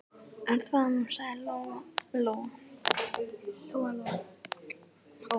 Er það nú, sagði Lóa-Lóa.